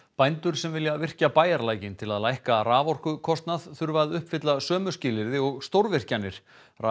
bændur sem vilja virkja bæjarlækinn til að lækka raforkukostnað þurfa að uppfylla sömu skilyrði og stórvirkjanir